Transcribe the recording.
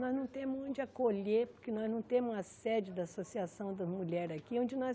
Nós não temos onde acolher, porque nós não temos a sede da Associação da Mulher aqui, onde nós